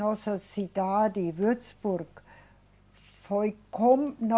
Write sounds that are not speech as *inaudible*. Nossa cidade, Würzburg, foi com *unintelligible*